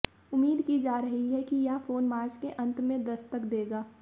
उम्मीद की जा रही हैं कि यह फोन मार्च के अंत में दस्तक देगा